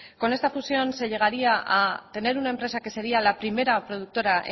con esta fusión se llegaría a tener una empresa que sería la primera productora